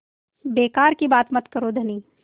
बेकार की बात मत करो धनी